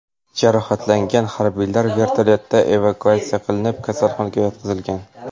Jarohatlangan harbiylar vertolyotda evakuatsiya qilinib, kasalxonaga yotqizilgan.